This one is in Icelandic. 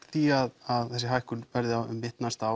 því að þessi hækkun verði um mitt næsta